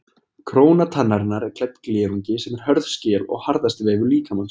Króna tannarinnar er klædd glerungi sem er hörð skel og harðasti vefur líkamans.